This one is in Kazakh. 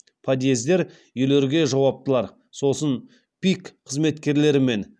подъездер үйлерге жауаптылар сосын пик қызметкерлерімен